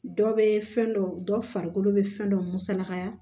Dɔ bɛ fɛn dɔ dɔ farikolo bɛ fɛn dɔ musalakaya